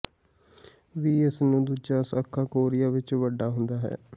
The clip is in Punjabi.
ਵੀ ਇਸ ਨੂੰ ਦੂਜਾ ਸਾਖਾ ਕੋਰੀਆ ਵਿੱਚ ਵੱਡਾ ਹੁੰਦਾ ਹੈ